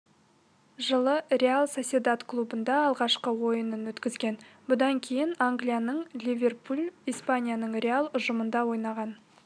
жылы реал сосьедад клубында алғашқы ойынын өткізген бұдан кейін англияның ливерпуль испанияның реал ұжымдарында ойнаған